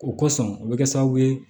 O kosɔn o bɛ kɛ sababu ye